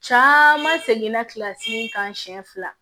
Caman seginna kilasi kan siɲɛ fila